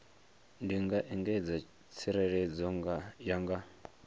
ndi nga engedza tsireledzo yanga